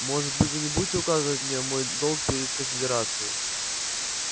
может быть вы не будете указывать мне мой долг перед конфедерацией